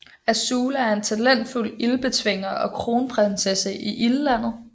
Azula er en talentfuld Ildbetvinger og kronprinsesse i Ildlandet